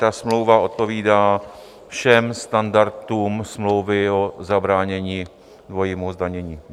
Ta smlouva odpovídá všem standardům smlouvy o zabránění dvojímu zdanění.